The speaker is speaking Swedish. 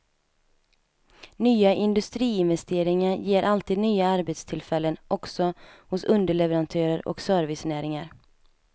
Nya industriinvesteringar ger alltid nya arbetstillfällen också hos underleverantörer och servicenäringar.